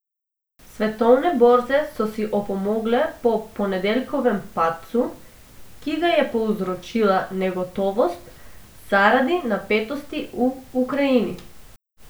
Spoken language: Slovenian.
Svetovne borze so si opomogle po ponedeljkovem padcu, ki ga je povzročila negotovost zaradi napetosti v Ukrajini.